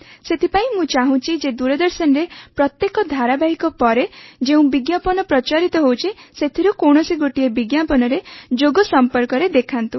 ସେଥିପାଇଁ ମୁଁ ଚାହୁଁଛି ଯେ ଦୂରଦର୍ଶନରେ ପ୍ରତ୍ୟେକ ଧାରାବାହିକ ପରେ ଯେଉଁ ବିଜ୍ଞାପନ ପ୍ରଚାରିତ ହେଉଛି ସେଥିରୁ କୌଣସି ଗୋଟିଏ ବିଜ୍ଞାପନରେ ଯୋଗ ସମ୍ପର୍କରେ ଦେଖାନ୍ତୁ